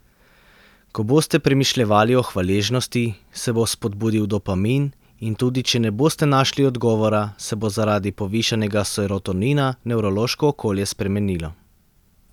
Ko boste premišljevali o hvaležnosti, se bo spodbudil dopamin in tudi če ne boste našli odgovora, se bo zaradi povišanega serotonina nevrološko okolje spremenilo.